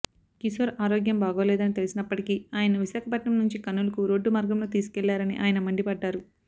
కిశోర్ ఆరోగ్యం బాగోలేదని తెలిసినప్పటికీ ఆయనను విశాఖపట్నం నుంచి కర్నూలుకు రోడ్డు మార్గంలో తీసుకెళ్లారని ఆయన మండిపడ్డారు